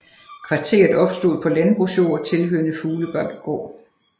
Kvarteret opstod på landbrugsjord tilhørende Fuglebakkegård